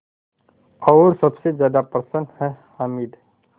और सबसे ज़्यादा प्रसन्न है हामिद